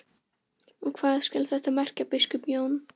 Og hvað skal þetta merkja, biskup Jón?